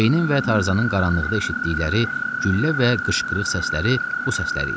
Cenin və Tarzanın qaranlıqda eşitdikləri güllə və qışqırıq səsləri bu səsləri idi.